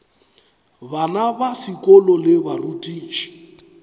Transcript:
bana ba sekolo le barutiši